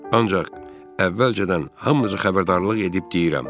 Ancaq əvvəlcədən hamınızı xəbərdarlıq edib deyirəm.